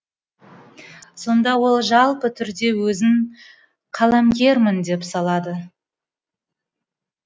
сонда ол жалпы түрде өзін қаламгермін дей салады